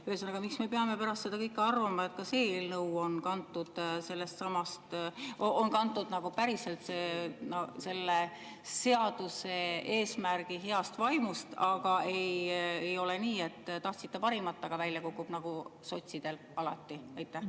Ühesõnaga, miks me peame pärast seda kõike arvama, et ka see eelnõu on päriselt kantud selle seaduse eesmärgi heast vaimust, mitte ei ole nii, et tahtsite parimat, aga välja kukub nagu sotsidel alati?